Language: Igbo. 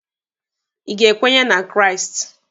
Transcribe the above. Ị ga-ekwenye na Kraịst?